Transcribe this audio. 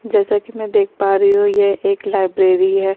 जैसा की मैं देख पा रही हूँ ये एक लाइब्रेरी है।